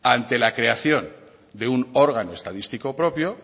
ante la creación de un órgano estadístico propio